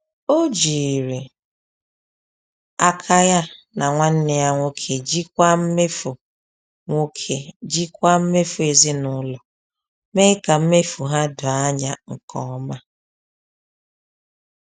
Ọ jiri aka ya na nwanne ya nwoke jikwaa mmefu nwoke jikwaa mmefu ezinụlọ, mee ka mmefu ha doo anya nke ọma.